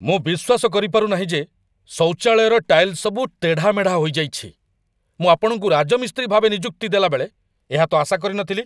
ମୁଁ ବିଶ୍ୱାସ କରିପାରୁ ନାହିଁ ଯେ ଶୌଚାଳୟର ଟାଇଲ୍ ସବୁ ତେଢ଼ାମେଢ଼ା ହୋଇଯାଇଛି! ମୁଁ ଆପଣଙ୍କୁ ରାଜମିସ୍ତ୍ରୀ ଭାବେ ନିଯୁକ୍ତି ଦେଲାବେଳେ ଏହା ତ ଆଶା କରିନଥିଲି।